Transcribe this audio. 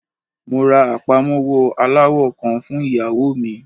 Mo ra apamọwọ alawọ kan fun iyawo mi.